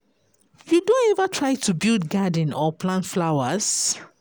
You don ever try to build garden or plant flowers?